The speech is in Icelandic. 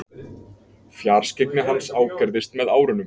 Fjarskyggni hans ágerðist með árunum.